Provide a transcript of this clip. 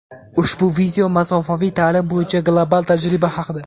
Ushbu video masofaviy ta’lim bo‘yicha global tajriba haqida.